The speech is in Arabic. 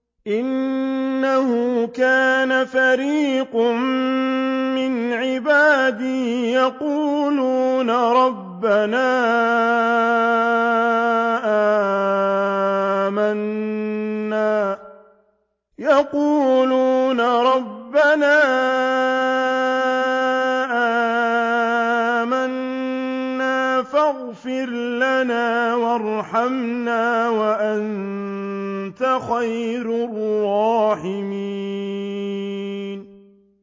إِنَّهُ كَانَ فَرِيقٌ مِّنْ عِبَادِي يَقُولُونَ رَبَّنَا آمَنَّا فَاغْفِرْ لَنَا وَارْحَمْنَا وَأَنتَ خَيْرُ الرَّاحِمِينَ